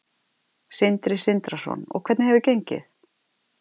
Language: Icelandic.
Sindri Sindrason: Og hvernig hefur gengið?